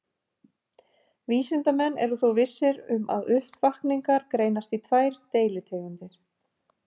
Vísindamenn eru þó vissir um að uppvakningar greinast í tvær deilitegundir.